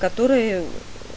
которые